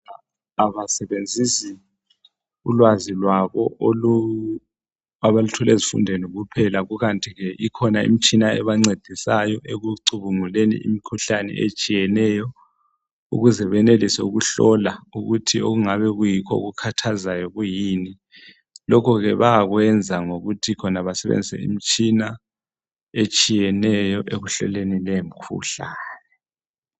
Abasebenzisi ukwazi abalutjole ezifundweni kuphela kanti ke kulemtshina ebancedisayo ekucubunguleni imikhuhlane etshiyeneyo ukuze benelise ukuhlola ukuthi okungabe kuyikho okukhathazayo kuyini lokhu ke bayakuyenza ngokuthi basebenzise imitshina etshiyeneyo ekuhloleni lemikhuhlane